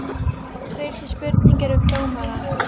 Fyrsta spurningin er um dómarann?